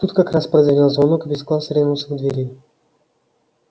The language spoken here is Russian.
тут как раз прозвенел звонок и весь класс ринулся к двери